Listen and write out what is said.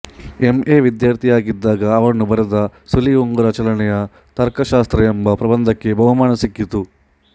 MA ವಿದ್ಯಾರ್ಥಿಯಾಗಿದ್ದಾಗ ಅವನು ಬರೆದ ಸುಳಿ ಉಂಗುರ ಚಲನೆಯ ತರ್ಕಶಾಸ್ತ್ರ ಎಂಬ ಪ್ರಬಂಧಕ್ಕೆ ಬಹುಮಾನ ಸಿಕ್ಕಿತು